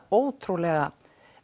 ótrúlega